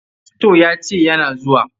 Fasto ya ce yana zuwa.